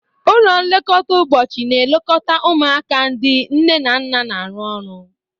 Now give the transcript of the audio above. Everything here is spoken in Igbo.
Ụlọ nlekọta ụbọchị na-elekọta ụmụaka ndị nne na nna na-arụ ọrụ.